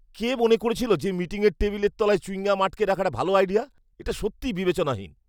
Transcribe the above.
কে মনে করেছিল যে মিটিংয়ের টেবিলের তলায় চুয়িং গাম আটকে রাখাটা ভাল আইডিয়া? এটা সত্যিই বিবেচনাহীন।